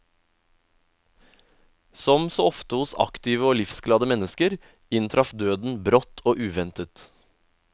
Som så ofte hos aktive og livsglade mennesker, inntraff døden brått og uventet.